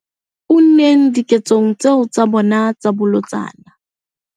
Unneng diketsong tseo tsa bona tsa bolotsana.